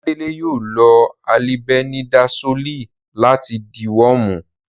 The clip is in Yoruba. Oládélé yóò lo alibẹnidasóòlì láti dìwọ́ọ̀mù